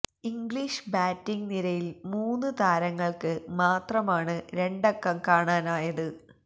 English batting നിരയില് മൂന്ന് താരങ്ങള്ക്ക് മാത്രമാണ് രണ്ടക്കം കാണാനായത്